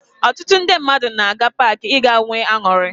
Ọtụtụ ndị mmadụ na-aga paakị ịga nwee aṅụrị